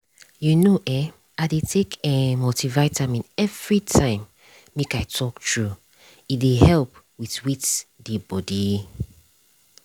you know eh i dey take eh multivitamin everytime make i talk true e dey help with with dey body.